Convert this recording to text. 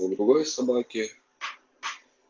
у другой собаки